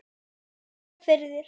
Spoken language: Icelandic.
Sjö firðir!